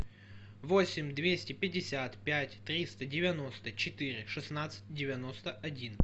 восемь двести пятьдесят пять триста девяносто четыре шестнадцать девяносто один